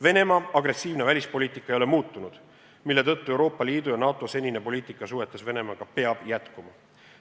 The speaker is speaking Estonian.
Venemaa agressiivne välispoliitika ei ole muutunud, seetõttu peab Euroopa Liidu ja NATO senine poliitika suhetes Venemaaga jätkuma.